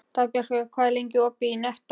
Dagbjartur, hvað er lengi opið í Nettó?